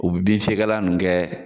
U bi bin fɛgɛglan nunnu kɛ